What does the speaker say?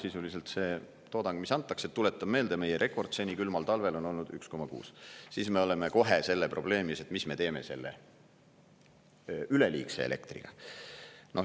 Sisuliselt see toodang, mis antakse – tuletan meelde, meie rekord seni külmal talvel on olnud 1,6 gigavatti –, siis me oleme kohe selle probleemi ees, et mis me teeme selle üleliigse elektriga.